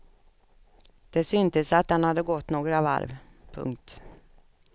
Det syntes att den hade gått några varv. punkt